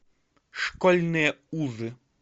школьные узы